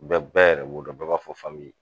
U bɛ bɛɛ yɛrɛ b'o dɔn, bɛɛ b'a fɔ